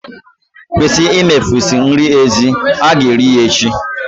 Kwụsị imefusị nri ezi. Ha ga-eri ya echi.